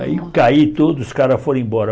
Aí eu caí todo, os caras foram embora.